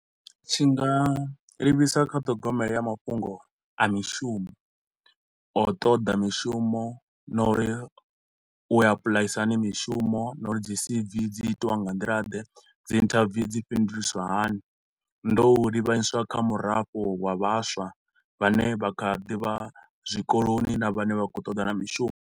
Tshi nga livhisa ṱhogomelo ya mafhungo a mishumo a u toḓa mishumo na uri u apulaisa hani mishumo na uri dzi C_V dzi itiwa nga nḓila ḓe, dzi interview dzi fhinduliswa hani. Ndo u livhanyiswa kha murafho wa vhaswa vhane vha kha ḓi vha zwikoloni na vhane vha khou toḓana na mishumo.